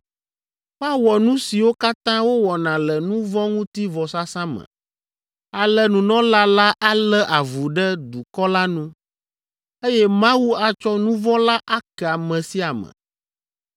Woawɔ nu siwo katã wowɔna le nu vɔ̃ ŋuti vɔsasa me. Ale nunɔla la alé avu ɖe dukɔ la nu, eye Mawu atsɔ nu vɔ̃ la ake ame sia ame.